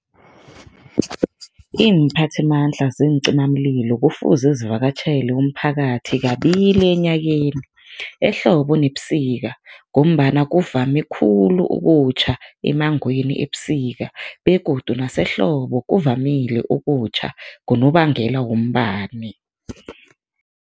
Iimphathimandla zeencimamlilo kufuze zivakatjhele umphakathi kabili enyakeni, ehlobo nebusika ngombana kuvame khulu ukutjha emmangweni ebusika begodu nasehlobo kuvamile ukutjha ngonobangela wombani.